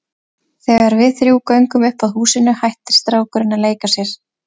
Þegar við þrjú göngum upp að húsinu hættir strákurinn að leika sér.